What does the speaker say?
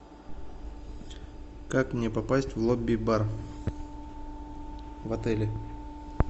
как мне попасть в лобби бар в отеле